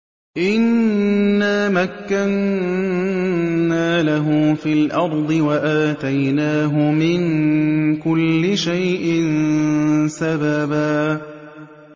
إِنَّا مَكَّنَّا لَهُ فِي الْأَرْضِ وَآتَيْنَاهُ مِن كُلِّ شَيْءٍ سَبَبًا